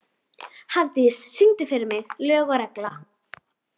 Hafdís, syngdu fyrir mig „Lög og regla“.